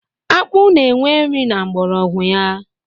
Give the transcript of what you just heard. Akpụ na enwe nri na mgbọrọgwụ ya